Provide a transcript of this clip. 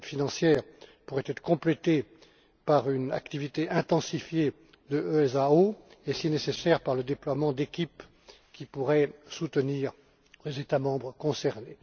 Cette aide financière pourrait être complétée par une activité intensifiée de l'EASO et, si nécessaire, par le déploiement d'équipes qui pourraient soutenir les États membres concernés.